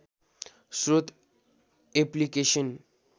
स्रोत एप्लिकेसन